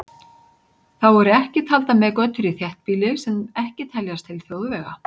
Þá eru ekki taldar með götur í þéttbýli sem ekki teljast til þjóðvega.